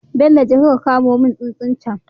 Bello jeka ka kamo mun tsuntsun cen